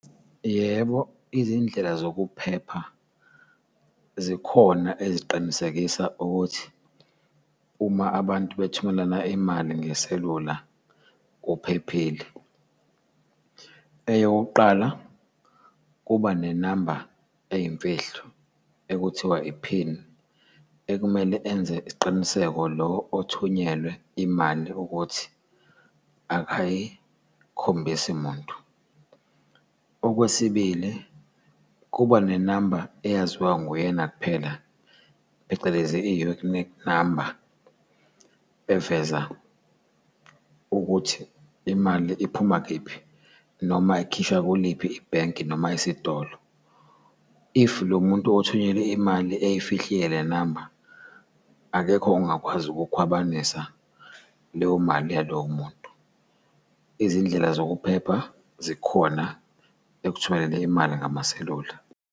Yebo izindlela zokuphepha zikhona eziqinisekisa ukuthi uma abantu bethumelana imali ngeselula kuphephile. Eyokuqala, kuba nenamba eyimfihlo ekuthiwa iphini ekumele enze isiqiniseko lo othunyelwe imali ukuthi akayikhombisi muntu. Okwesibili, kuba nenamba eyaziwa nguyena kuphela, phecelezi i-unique number eveza ukuthi imali iphuma kephi, noma ikhishwa kuliphi ibhenki noma esitolo, if lomuntu othunyelwe imali eyifihlile le namba akekho ongakwazi ukukhwabanisa leyo mali yalowo muntu. Izindlela zokuphepha zikhona ekuthumelele imali ngamaselula.